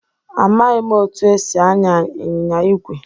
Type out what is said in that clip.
Amaghị m otú e si anya anyịnya ígwè.